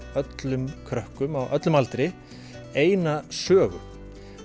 öllum krökkum á öllum aldri eina sögu